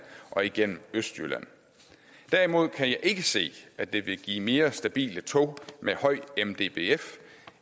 og igennem østjylland derimod kan jeg ikke se at det vil give mere stabile tog med høj mdbf